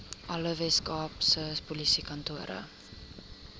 alle weskaapse polisiekantore